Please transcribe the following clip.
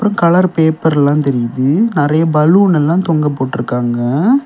Colour பேப்பர்லா தெரியுது நறைய பலூன் எல்லா தொங்க போட்டிருக்காங்க.